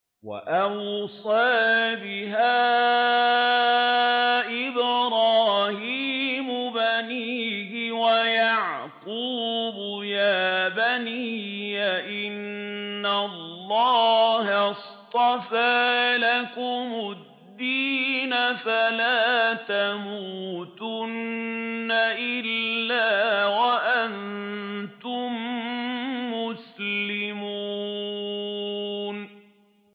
وَوَصَّىٰ بِهَا إِبْرَاهِيمُ بَنِيهِ وَيَعْقُوبُ يَا بَنِيَّ إِنَّ اللَّهَ اصْطَفَىٰ لَكُمُ الدِّينَ فَلَا تَمُوتُنَّ إِلَّا وَأَنتُم مُّسْلِمُونَ